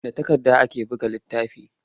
Da takarda ake buga littafi.